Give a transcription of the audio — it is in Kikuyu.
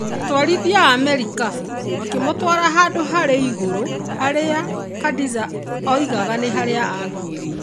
Atwarithia a marikabu makĩmũtwara handũ harĩ igũrũ harĩa Khadiza oigaga nĩ harĩa aakuĩrĩire.